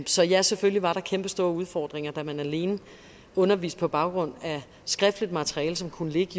så ja selvfølgelig var der kæmpe store udfordringer da man alene underviste på baggrund af skriftligt materiale som kunne ligge